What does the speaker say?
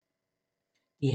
DR1